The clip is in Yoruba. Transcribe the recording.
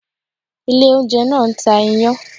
Ilé oúnjẹ náà ń ta iyán